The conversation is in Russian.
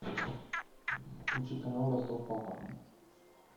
включи канал ростов папа